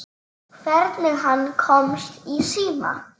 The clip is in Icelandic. Hvernig hann komst í síma.